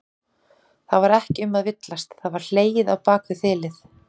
Það var ekki um að villast, það var hlegið á bak við þilið!